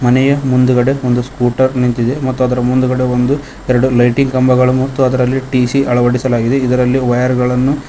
ಇಲ್ಲಿ ಮುಂದುಗಡೆ ಒಂದು ಸ್ಕೂಟರ್ ನಿಂತಿದೆ ಅದರ ಮುಂದುಗಡೆ ಒಂದು ಎರಡು ಲೈಟಿಂಗ್ ಕಂಬಗಳು ಮತ್ತು ಅದರಲ್ಲಿ ಟಿಸಿ ಅಳವಳಿಸಲಾಗಿದೆ ಮತ್ತೆ ವೈರಿಗಳನ್ನು.